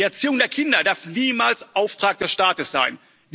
Die Erziehung der Kinder darf niemals Auftrag des Staates sein.